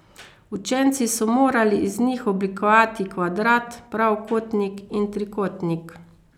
Učenci so morali iz njih oblikovati kvadrat, pravokotnik in trikotnik.